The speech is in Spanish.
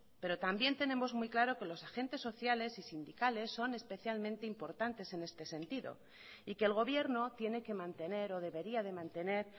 pero también tenemos muy claro que los agentes sociales y sindicales son especialmente importantes en este sentido y que el gobierno tiene que mantener o debería de mantener